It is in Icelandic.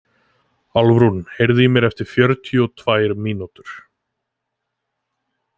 Álfrún, heyrðu í mér eftir fjörutíu og tvær mínútur.